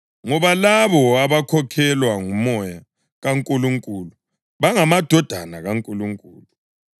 ngoba labo abakhokhelwa nguMoya kaNkulunkulu bangamadodana kaNkulunkulu.